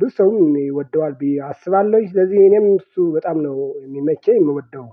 ብዙ ሰው የሚወደዋል ቢ አስባለሁኝ ስለዚህ የኔም እሱ በጣም ነው የሚመቸኝ የምወደው።